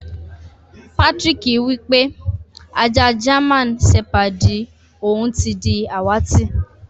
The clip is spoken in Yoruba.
Patrick wípé ajá jáman sepàdí òun ti di àwàtì.